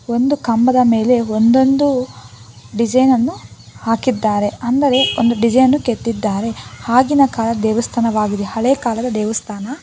ಒಂದು ಕಂಬದ ಮೇಲೆ ಒಂದೊಂದು ಡಿಸೈನ್ ಅನ್ನು ಹಾಕಿದ್ದಾರೆ ಅಂದರೆ ಒಂದು ಡಿಸೈನ್ ಕೆತ್ತಿದ್ದಾರೆ ಆಗಿನ ಕಾಲ ದೇವಸ್ಥಾನವಾಗಿದೆ ಹಳೇ ಕಾಲದ ದೇವಸ್ಥಾನ.